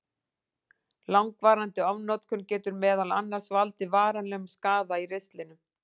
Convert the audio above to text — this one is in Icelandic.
Langvarandi ofnotkun getur meðal annars valdið varanlegum skaða í ristlinum.